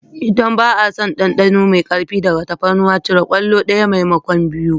Idan ba a son ɗanɗano mai ƙarfi daga tafarnuwa cire kwallo ɗaya maimakon biyu.